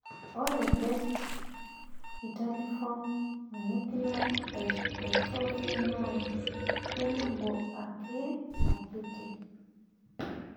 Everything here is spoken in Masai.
ore Best vitelliform macular dystrophy naa kebulu ake akiti